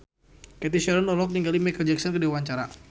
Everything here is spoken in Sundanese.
Cathy Sharon olohok ningali Micheal Jackson keur diwawancara